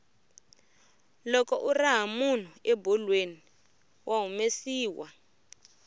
loko u raha munhu ebolweni wa humesiwa